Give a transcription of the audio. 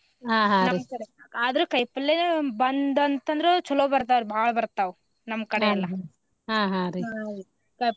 ಆದ್ರ ಕಾಯಿಪಲ್ಲೇ ಬಂತಂತಂದ್ರ ಚೊಲೋ ಬರ್ತಾವ್ರಿ ಬಾಳ ಬರ್ತಾವ್ ನಮ್ ಕಡೆ ಎಲ್ಲಾ .